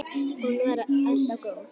Hún var alltaf góð.